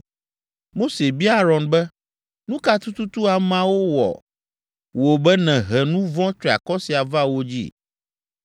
Mose bia Aron be, “Nu ka tututu ameawo wɔ wò be nèhe nu vɔ̃ triakɔ sia va wo dzi?”